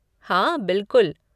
हाँ, बिलकुल।